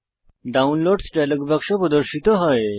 ডাউনলোডসহ dialog বাক্স প্রদর্শিত হয়